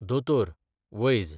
दोतोर, वैज